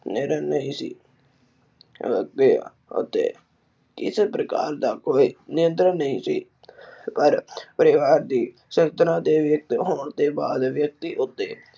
ਅਤੇ ਇਸ ਪ੍ਰਕਾਰ ਦਾ ਕੋਈ ਨਿਯੰਤਰਣ ਨਹੀਂ ਸੀ। ਪਰ ਪਰਿਵਾਰ ਦੀ ਸਰੰਚਨਾ ਦੇ ਵਿਚ ਹੋਣ ਦੇ ਬਾਅਦ ਵਿਚ ਵਿਅਕਤੀ ਉੱਤੇ